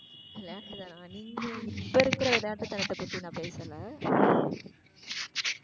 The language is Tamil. விளையாட்டு தான் நீங்க இப்ப இருக்கிற விளையாட்டு தனத்தப்பத்தி நான் பேசல?